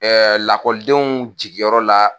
lakɔlidenw jigiyɔrɔ la